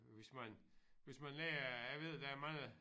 Hvis man hvis man lærer jeg ved der er mange